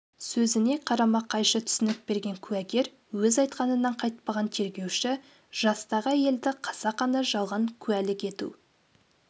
сөзіне қарама-қайшы түсінік берген куәгер өз айтқанынан қайтпаған тергеуші жастағы әйелді қасақана жалған куәлік ету